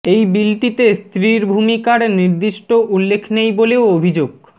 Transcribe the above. এই বিলটিতে স্ত্রীর ভূমিকার নির্দিষ্ট উল্লেখ নেই বলেও অভিযোগ